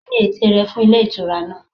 Kíni ète rẹ fún Ilé Ìtura náà